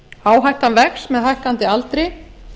áhættan vex með hækkandi aldri